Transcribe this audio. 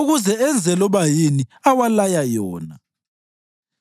ukuze enze loba yini awalaya yona.